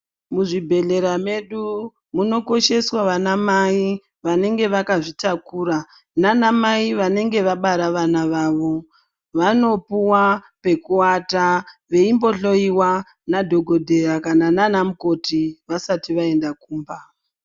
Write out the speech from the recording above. Muzvibhedhlera medu munokosheswa ana mai anenge akazvitakura nana mai vanenge vabara vana vavo vanopuwa pekuata veingohloiwa nadhokodheya kana nana mukoti vasati vaenda kumba.